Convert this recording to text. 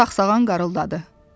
Sağ-sağan qarıldadı.